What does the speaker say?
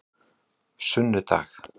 sunnudag